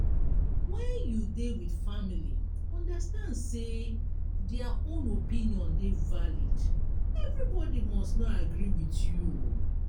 when you dey with family understand sey their own opinion dey valid everybody must not agree with you